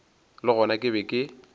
le gona ke be ke